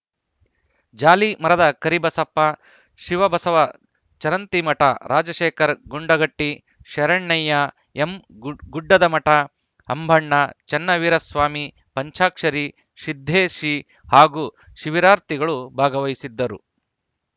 ಜಾಲಿಮರದ ಕರಿಬಸಪ್ಪ ಶಿವಬಸವ ಚರಂತಿಮಠ ರಾಜಶೇಖರ ಗುಂಡಗಟ್ಟಿ ಶರಣಯ್ಯ ಎಂಗು ಗುಡ್ಡದಮಠ ಅಂಬಣ್ಣ ಚನ್ನವೀರಸ್ವಾಮಿ ಪಂಚಾಕ್ಷರಿ ಸಿದ್ದೇಶಿ ಹಾಗೂ ಶಿಬಿರಾರ್ಥಿಗಳು ಭಾಗವಹಿಸಿದ್ದರು